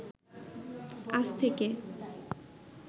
আজ থেকে